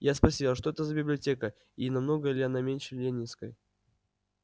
я спросила что это за библиотека и намного ли она меньше ленинской